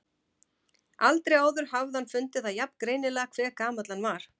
Aldrei áður hafði hann fundið það jafn greinilega hve gamall hann var.